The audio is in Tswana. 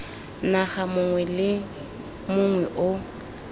naga mongwe le mongwe o